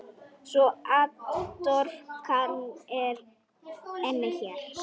Svo atorkan er einnig hér.